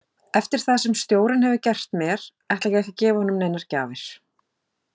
Eftir það sem stjórinn hefur gert mér ætla ég ekki að gefa honum neinar gjafir.